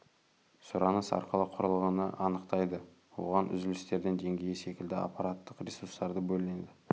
сұраныс арқылы құрылғыны анықтайды оған үзілістердің деңгейі секілді аппараттық ресурстарды бөледі